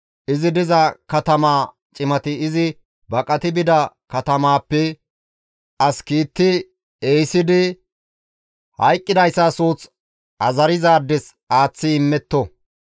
izi diza katamaa cimati izi baqati bida katamaappe as kiitti ehisidi hayqqidayssa suuth azarizaades aaththi immetto.